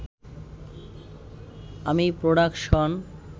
আমি প্রোডাকশন